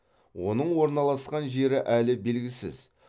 оның орналасқан жері әлі белгісіз